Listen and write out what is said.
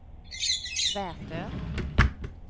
Vätö